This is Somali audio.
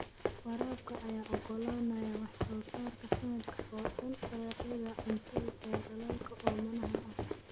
Waraabka ayaa ogolaanaya wax soo saarka sanadka oo dhan dalagyada cuntada ee dalalka oomanaha ah.